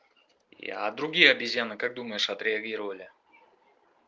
а другие обезьяны как думаешь отреагировали